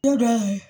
Du dɔw ye